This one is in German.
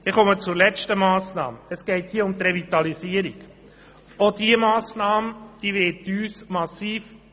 Ich komme zur letzten Massnahme und zu den Planungserklärungen 6 und 7: